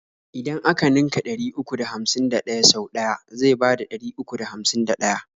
idan a ka ninka ɗari uku da hamsin da ɗaya sau ɗaya zai bada ɗari uku da hamsin da ɗaya.